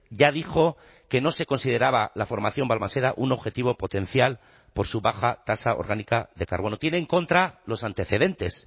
ya dijo que no se consideraba la formación balmaseda un objetivo potencial por su baja tasa orgánica de carbono tiene en contra los antecedentes